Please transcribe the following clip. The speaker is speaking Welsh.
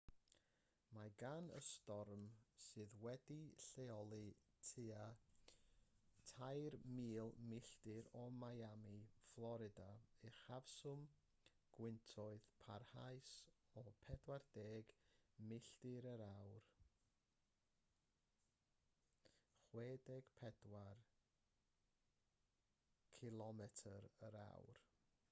mae gan y storm sydd wedi'i lleoli tua 3,000 milltir o miami fflorida uchafswm gwyntoedd parhaus o 40 mya 64 kph